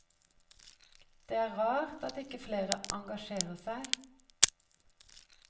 Det er rart at ikke flere engasjerer seg.